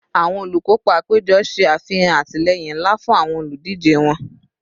Awọn olukopa apejọ ṣe afihan atilẹyin nla fun awọn oludije wọn